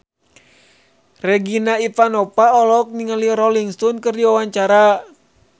Regina Ivanova olohok ningali Rolling Stone keur diwawancara